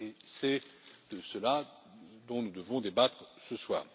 C'est de cela dont nous devons débattre ce soir.